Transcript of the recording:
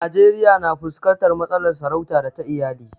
Najeriya na fuskantar matsalar sarauta da ta iyali.